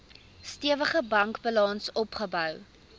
stewige bankbalans opgebou